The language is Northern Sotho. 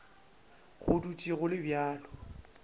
go dutše go le bjalo